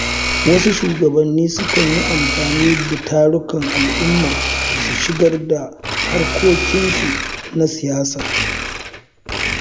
Wasu shugabanni sukan yi amfani da tarukan al’umma su shigar da harkokinsu na siyasa.